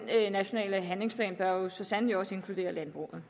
nationale handlingsplan bør jo så sandelig også inkludere landbruget